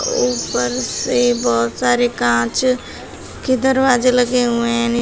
ऊपर से बहुत सारे कांच के दरवाजे लगे हुए है।